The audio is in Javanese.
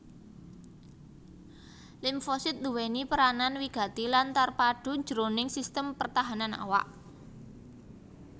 Limfosit nduwèni peranan wigati lan terpadu jroning sistem pertahanan awak